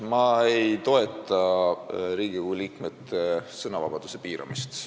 Ma ei toeta Riigikogu liikmete sõnavabaduse piiramist.